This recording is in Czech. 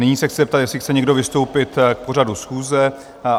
Nyní se chci zeptat, jestli chce někdo vystoupit k pořadu schůze?